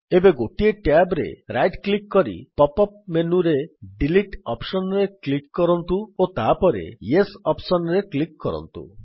ଏବେ ଗୋଟିଏ ଟ୍ୟାବ୍ ରେ ରାଇଟ୍ କ୍ଲିକ୍ କରି ପପ୍ ଅପ୍ ମେନୁରେ ଡିଲିଟ୍ ଅପ୍ସନ୍ ରେ କ୍ଲିକ୍ କରନ୍ତୁ ଓ ତାପରେ ୟେସ୍ ଅପ୍ସନ୍ ରେ କ୍ଲିକ୍ କରନ୍ତୁ